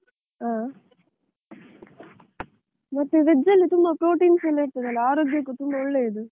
ಹಾ, ಮತ್ತೆ veg ಅಲ್ಲಿ ತುಂಬಾ proteins ಎಲ್ಲ ಇರ್ತದಲ್ಲ, ಆರೋಗ್ಯಕ್ಕೆ ತುಂಬಾ ಒಳ್ಳೆಯದು.